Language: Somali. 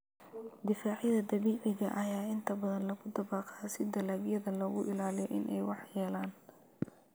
Difaacyada dabiiciga ah ayaa inta badan lagu dabaqaa si dalagyada looga ilaaliyo in ay waxyeeleeyaan.